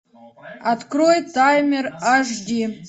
открой таймер аш ди